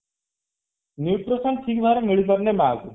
nutrition ଠିକ ଭାବରେ ମିଳିପାରୁନି ମା କୁ